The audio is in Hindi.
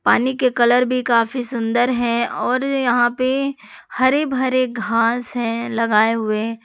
पानी के कलर भी काफी सुंदर है और यहां पे हरे भरे घास है लगाए हुए।